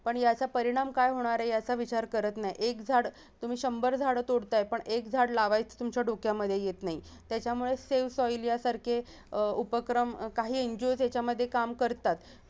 पण याचा परिणाम काय होणार आहे याचा विचार करत नाही एक झाडं तुम्ही शंभर झाडं तोडताय पण एक झाडं लावयच तुमच्या डोक्यामध्ये येत नाही त्याच्यामुळे save soil सारखे अह उपक्रम काही NGO याचामध्ये काम करतात